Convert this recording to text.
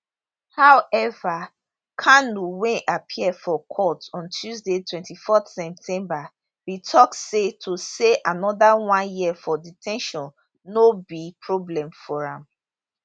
however kanu wey appear for court on tuesday 24 september bin tok say to stay anoda one year for de ten tion no be problem for am